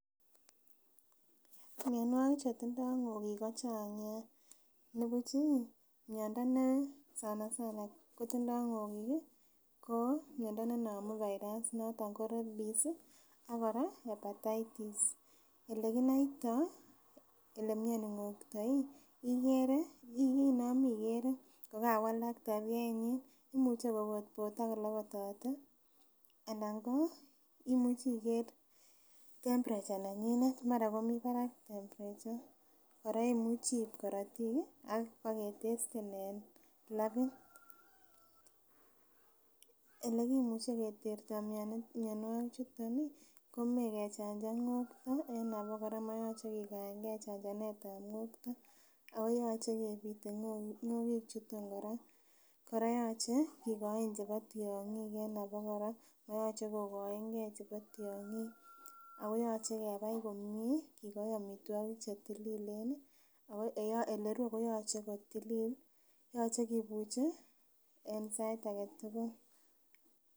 Mionwogik chetindoo ng'okik ko chang nia nibuch ih miondo me sana sana kotindoo ng'okik ih ko miondo nenomu virus noton ko rabies ih ak kora hepatitis elekinoitoo kole mioni ng'okto ikere inomi ikere kokawalak tabiait nyin imuche kobotbote akolobotote anan ko imuchi iker temperature nenyinet mara komii barak temperature kora imuchii iib korotik ih ak baketesten en labit. Elekimuche keterto mionwogik chuton ih komoe kechanjan ng'okto en abokora moyoche kikaengee chanjanet ab ng'okto ako yoche kebite ng'okik chuton kora. Kora yoche kikoin chebo tiong'ik en abokora moyoche kokoengee chebo tiong'ik ako yoche kebai komie kikoi amitwogik chetililen ih ako elerue koyoche kotilil yoche kibuche en sait aketugul